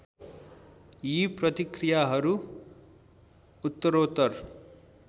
यी प्रतिक्रियाहरू उत्तरोत्तर